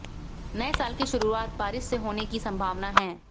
नए साल की शुरूआत बारिश से होने की संभावना है